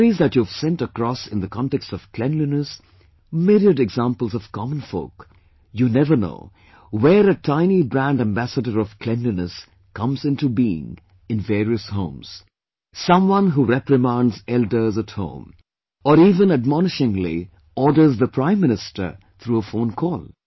The stories that you've sent across in the context of cleanliness, myriad examples of common folk... you never know where a tiny brand ambassador of cleanliness comes into being in various homes; someone who reprimands elders at home; or even admonishingly orders the Prime Minister through a phone call